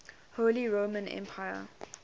holy roman empire